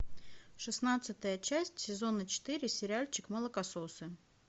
шестнадцатая часть сезона четыре сериальчик молокососы